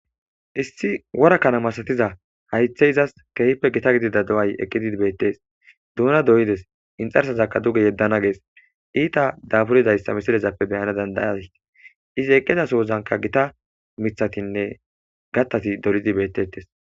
issi worakkana masatiza haythe izas kehipe gita gidida do7ay eqqidid beettes duuna doyides inxarsazakka duge yeddana gees iita daburidayssa misirezappe beyana dandayatii izi eqqizasohozanka gita mithatinne gattasi dolidi bettettes